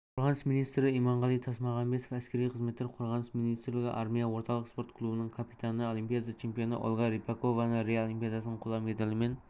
қорғаныс министрі иманғали тасмағамбетов әскери қызметкер қорғаныс министрлігі армия орталық спорт клубының капитаны олимпиада чемпионы ольга рыпакованы рио олимпиадасының қола медалімен